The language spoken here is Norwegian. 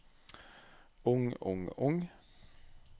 ung ung ung